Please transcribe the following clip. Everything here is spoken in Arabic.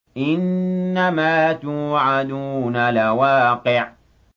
إِنَّمَا تُوعَدُونَ لَوَاقِعٌ